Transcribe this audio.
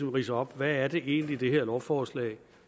ridse op hvad det egentlig er det her lovforslag